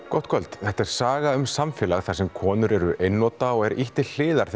gott kvöld þetta er saga um samfélag þar sem konur eru einnota og er ýtt til hliðar